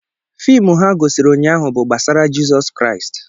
Fiimu ha gosiri ụnyaahụ bụ gbasara Jizọs Kraịst.